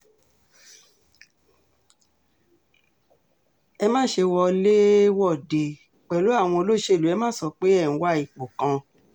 ẹ má ṣe wọlé-wọ̀de pẹ̀lú àwọn olóṣèlú ẹ má sọ pé ẹ̀ ń wá ipò kan